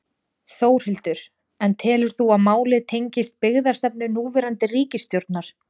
Þórhildur: En telur þú að málið tengist byggðastefnu núverandi ríkisstjórnar?